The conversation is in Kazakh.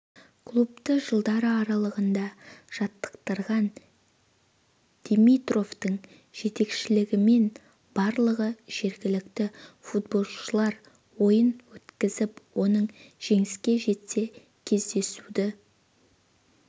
клубты жылдары аралығында жаттықтырған димитровтың жетекшілігімен барлығы жергілікті футболшылар ойын өткізіп оның жеңіске жетсе кездесуді